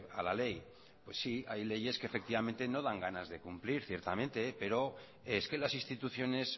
a la ley pues sí hay leyes que efectivamente no dan ganas de cumplir ciertamente pero es que las instituciones